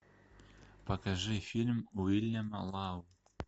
покажи фильм уильяма лау